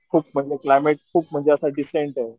खूप म्हणजे क्लायमेट खूप म्हणजे असं डिसेंटे.